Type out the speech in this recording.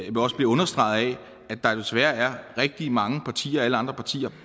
jo også bliver understreget af at der desværre er rigtig mange partier alle andre partier